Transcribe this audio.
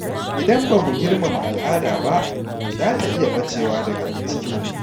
Idan ba mu girmama al’ada ba, za ta iya ɓacewa daga cikinmu.